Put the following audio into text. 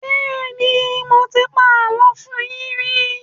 Bẹ́ẹ́nì, mo ti pa àlọ́ fún yín rí.